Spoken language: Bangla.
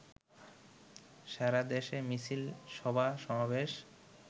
সারাদেশে মিছিল, সভা-সমাবেশ